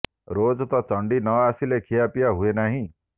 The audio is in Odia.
ରୋଜ ତ ଚଣ୍ଡୀ ନ ଆସିଲେ ଖିଆପିଆ ହୁଏ ନାହିଁ